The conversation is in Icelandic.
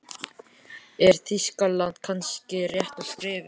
Er Þýskaland kannski rétta skrefið?